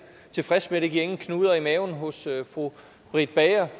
tilfreds med det giver ingen knuder i maven hos fru britt bager